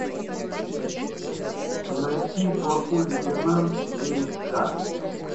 найти плохой лейтенант четыре ка